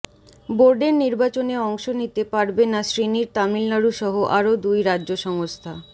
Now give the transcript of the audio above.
বোর্ডের নির্বাচনে অংশ নিতে পারবে না শ্রীনির তামিলনাড়ু সহ আরও দুই রাজ্য সংস্থা